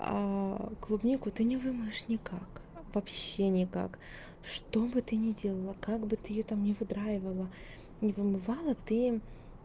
а клубнику ты не вымоешь никак вообще никак чтобы ты не делала как бы ты её там не выдраивала не вымывала ты